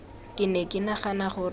ke ne ke nagana gore